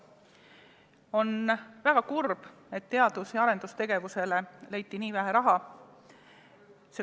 On väga kurb, et teadus- ja arendustegevusele leiti nii vähe raha.